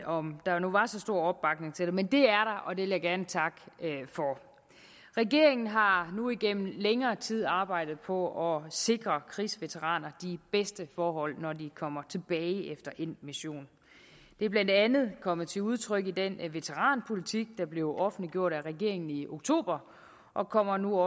om der nu var så stor opbakning til det men det er der og det vil jeg gerne takke for regeringen har nu igennem længere tid arbejdet på at sikre krigsveteraner de bedste forhold når de kommer tilbage efter endt mission det er blandt andet kommet til udtryk i den veteranpolitik der blev offentliggjort af regeringen i oktober og kommer nu